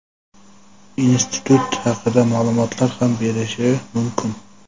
institut haqida ma’lumotlar ham berishi mumkin.